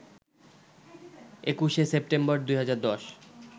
২১শে সেপ্টেম্বর ২০১০